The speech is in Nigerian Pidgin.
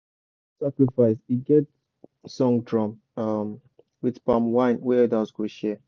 to do sacrifice e get song drum um with palm wine wey elders go share.